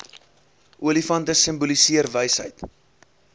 olifante simboliseer wysheid